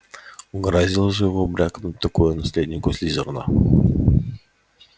угораздило же его брякнуть такое наследнику слизерина